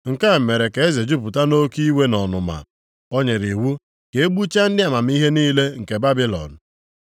Nke a mere ka eze jupụta nʼoke iwe na ọnụma, o nyere iwu ka e gbuchaa ndị amamihe niile nke Babilọn.